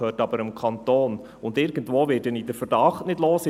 Es gehört aber dem Kanton, und irgendwo werde ich einen Verdacht nicht los.